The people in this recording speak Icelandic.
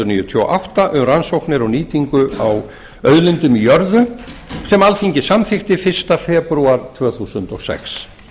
níutíu og átta um rannsóknir og nýtingu á auðlindum í jörðu sem alþingi samþykkti fyrsta febrúar tvö þúsund og sex